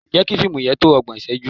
Jẹ́ kí fíìmù yẹn tó ọgbọ̀n ìṣẹ́jú!